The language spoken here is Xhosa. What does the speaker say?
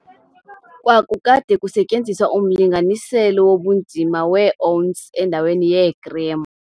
Kwakukade kusetyenziswa umlinganiselo wobunzima weeounsi endaweni yeegram.